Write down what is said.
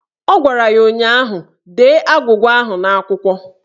Ọ gwara ya ụnyaahụ "Dee agwụgwa ahụ n'akwụkwọ"!